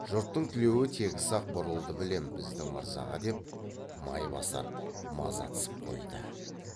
жұрттың тілеуі тегіс ақ бұрылды білем біздің мырзаға деп майбасар мазатсып қойды